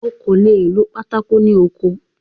O kò le è lo pátákó ní oko.